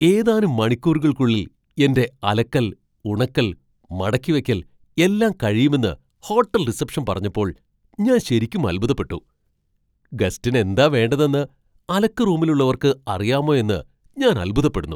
ഏതാനും മണിക്കൂറുകൾക്കുള്ളിൽ എന്റെ അലക്കൽ, ഉണക്കൽ, മടക്കിവെക്കൽ എല്ലാം കഴിയുമെന്ന് ഹോട്ടൽ റിസപ്ഷൻ പറഞ്ഞപ്പോൾ ഞാൻ ശരിക്കും അൽഭുതപ്പെട്ടു. ഗസ്റ്റിന് എന്താ വേണ്ടതെന്ന് അലക്ക് റൂമിലുള്ളവർക്ക് അറിയാമോ എന്ന് ഞാൻ അൽഭുതപ്പെടുന്നു.